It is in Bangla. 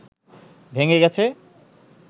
ভেঙে গেছে